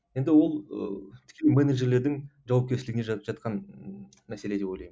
енді ол ыыы тіке менеджерлердің жауапкершілігінде жатқан ы мәселе деп ойлаймын